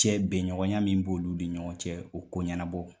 Cɛ bɛn bɛɲɔgɔnya min b'olou ni ɲɔgɔn cɛ u ko ɲɛnabɔ